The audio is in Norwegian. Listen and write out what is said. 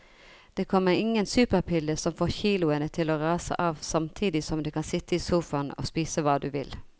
Det kommer ingen superpille som får kiloene til å rase av samtidig som du kan sitte i sofaen og spise hva du vil.